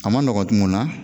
A ma nɔgɔ mun na.